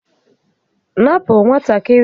Napụ nwatakịrị ahụ m̀mà a!